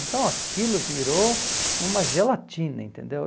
Então aquilo virou uma gelatina, entendeu?